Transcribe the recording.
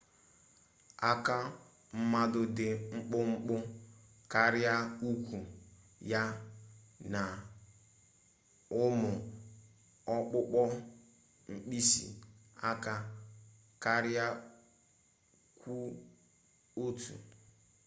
aka mmadụ dị mkpụmkpụ karịa ụkwụ ya na ụmụ ọkpụkpọ mkpịsị aka kara kwụ ọtụ